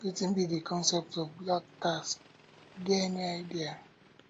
wetin be di concept of black tax you get any idea